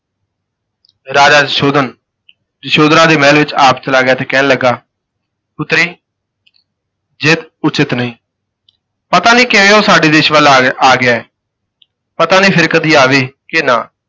ਰਾਜਾ ਸੁਸ਼ੋਧਨ ਯਸ਼ੋਧਰਾ ਦੇ ਮਹਿਲ ਵਿਚ ਆਪ ਚਲਾ ਗਿਆ ਤੇ ਕਹਿਣ ਲੱਗਾ ਪੁੱਤਰੀ ਜ਼ਿਦ ਉਚਿਤ ਨਹੀਂ, ਪਤਾ ਨਹੀਂ ਕਿਵੇਂ ਉਹ ਸਾਡੇ ਦੇਸ ਵਲ ਆ ਆ ਗਿਆ ਹੈ। ਪਤਾ ਨਹੀਂ ਫਿਰ ਕਦੀ ਆਵੇ ਕਿ ਨਾ।